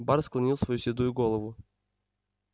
бар склонил свою седую голову